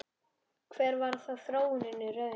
Hver varð þróunin í raun?